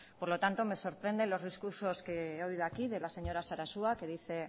por lo tanto me sorprende los discursos que he oído aquí de la señora sarasua que dice